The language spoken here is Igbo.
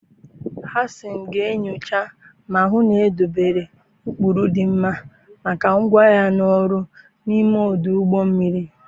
Hasan ga-enyocha ma hụ na edobere ụkpụrụ dị mma maka ngwa ahịa na ọrụ n'ime ọdụ ụgbọ mmiri.